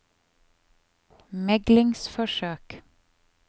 meglingsforsøk